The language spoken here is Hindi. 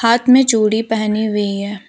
हाथ में चूड़ी पहनी हुई है।